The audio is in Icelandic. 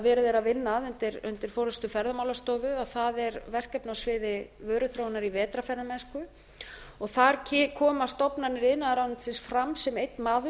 verið er að vinna að undir forustu ferðamálastofu er verkefni á sviði vöruþróunar vetrarferðamennsku þar koma stofnanir iðnaðarráðuneytisins fram sem einn maður